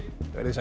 verið þið sæl